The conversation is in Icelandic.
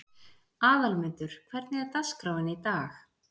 Aðalmundur, hvernig er dagskráin í dag?